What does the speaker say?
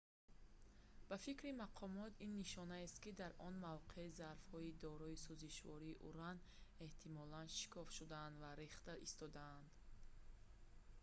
ба фикри мақомот ин нишонаест ки дар он мавқеъ зарфҳои дорои сӯзишвории уран эҳтимолан шикоф шуданд ва рехта истодаанд